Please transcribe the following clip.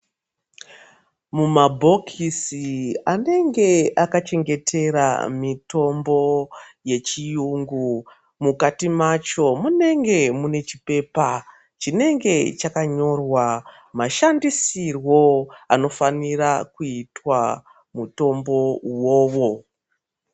Mumabhokisi anenge akachengetera mitombo yechiyungu, mukati macho munenge mune chipepa chinenge chakanyorwa mashandisirwo anofanira kuitwa mutombo uwowo.